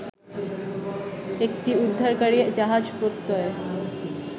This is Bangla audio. একটি উদ্ধারকারি জাহাজ প্রত্যয়